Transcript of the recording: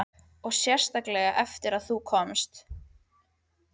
Og sérstaklega eftir að þú komst.